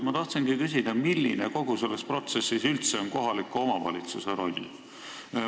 Ma tahtsingi küsida, milline kogu selles protsessis on üldse kohaliku omavalitsuse roll.